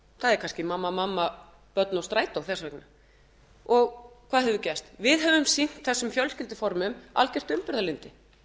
er kannski mamma mamma börn og strætó þess vegna hvað hefur gerst við höfum sýnt þessum fjölskylduformum algert umburðarlyndi